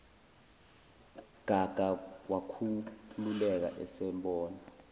gaga wakhululeka esebona